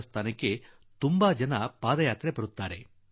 ಭಾದ್ರಪದ ಮಾಸದಲ್ಲಿ ಅಧಿಕ ಸಂಖ್ಯೆಯಲ್ಲಿ ಪಾದಯಾತ್ರಿಗಳು ಬರುತ್ತಾರೆ